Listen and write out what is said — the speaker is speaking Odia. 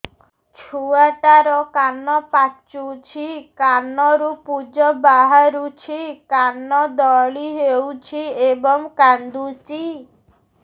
ଛୁଆ ଟା ର କାନ ପାଚୁଛି କାନରୁ ପୂଜ ବାହାରୁଛି କାନ ଦଳି ହେଉଛି ଏବଂ କାନ୍ଦୁଚି